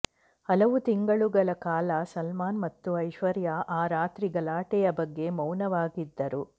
ಹಲವು ತಿಂಗಳುಗಳ ಕಾಲ ಸಲ್ಮಾನ್ ಮತ್ತು ಐಶ್ವರ್ಯಾ ಆ ರಾತ್ರಿ ಗಲಾಟೆಯ ಬಗ್ಗೆ ಮೌನವಾಗಿದ್ದರು